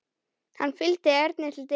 Hann fylgdi Erni til dyra.